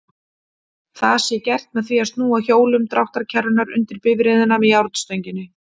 Það sé gert með því að snúa hjólum dráttarkerrunnar undir bifreiðina með járnstönginni.